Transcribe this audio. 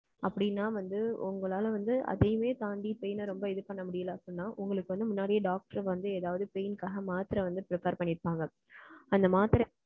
அப்படின்னா வந்து, உங்களால வந்து, அதையுமே தாண்டி, pain அ ரொம்ப இது பண்ண முடியலை, அப்படின்னா, உங்களுக்கு வந்து, முன்னாடியே doctor வந்து, ஏதாவது pain க்காக, மாத்திரை வந்து, prepare பண்ணி இருப்பாங்க. அந்த மாத்திரை